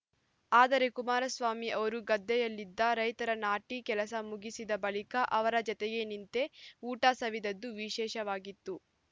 ಆದರೆ ಕುಮಾರಸ್ವಾಮಿ ಅವರು ಗದ್ದೆಯಲ್ಲಿದ್ದ ರೈತರು ನಾಟಿ ಕೆಲಸ ಮುಗಿಸಿದ ಬಳಿಕ ಅವರ ಜತೆಗೆ ನಿಂತೇ ಊಟ ಸವಿದದ್ದು ವಿಶೇಷವಾಗಿತ್ತು